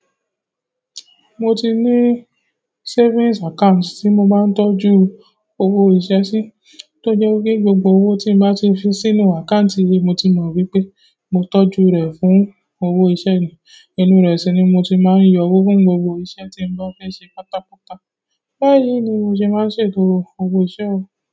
Mo ti ní savings account tí mo máa ń tọ́jú owó iṣẹ́ sí, tó jẹ́ pé gbogbo owó tí n bá ti fi sínú account yìí mo ti mọ́ wípé mo tọ́jú rẹ̀ fún owó iṣẹ́ ni. Ìnú rẹ̀ sí ni mo ti máa ń yọ owó fún gbogbo iṣẹ́ tí n bá fẹ́ ṣe pátápátá. Báyìí ni mo ṣe máa ń ṣètò owó iṣẹ̀ o.